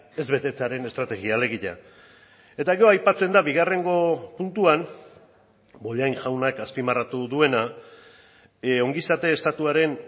ez betetzearen estrategia alegia eta gero aipatzen da bigarrengo puntuan bollain jaunak azpimarratu duena ongizate estatuaren